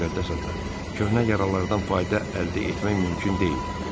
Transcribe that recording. Köhnə yaralardan fayda əldə etmək mümkün deyil.